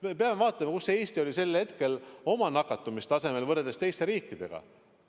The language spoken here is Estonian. Me peame vaatama, kus Eesti oli sel hetkel oma nakatumistasemelt, võrreldes teiste riikidega.